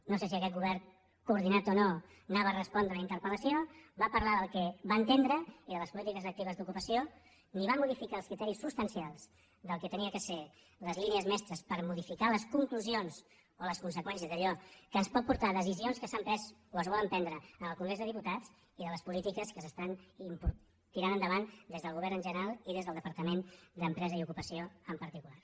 no sé si aquest govern coordinat o no anava a respondre la interpelpolítiques actives d’ocupació ni va modificar els criteris substancials del que havien de ser les línies mestres per modificar les conclusions o les conseqüències d’allò que ens pot portar a decisions que s’han pres o es volen prendre en el congrés dels diputats i de les polítiques que s’estan tirant endavant des del govern en general i des del departament d’empresa i ocupació en particular